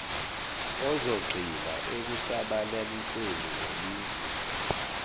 uzogxila ekusabalaliseni lelisu